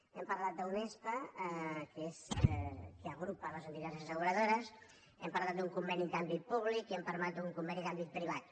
hem parlat d’unespa que és qui agrupa les entitats asseguradores hem parlat d’un conveni d’àmbit públic i hem parlat d’un conveni d’àmbit privat